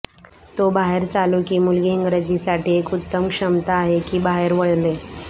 तो बाहेर चालू की मुलगी इंग्रजीसाठी एक उत्तम क्षमता आहे की बाहेर वळले